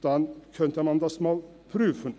Dann könnte man das einmal prüfen.